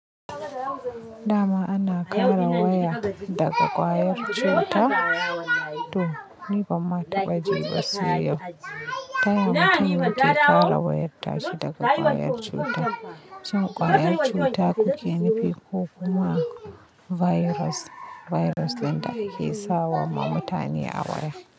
Da ma ana kara waya daga kwayar cuta to Ni banma taɓa jiba sai yau. Ta ya mutum yake kare wayarta shi daga kwayar cuta. Shin kwayar cuta kuke nufi ko kuma virus? Virus din da ke sawa ma mutane a waya.